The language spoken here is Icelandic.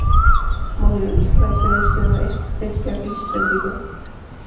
Má ég vinsamlega biðja um eitt stykki vísbendingu?